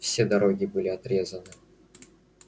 все дороги были отрезаны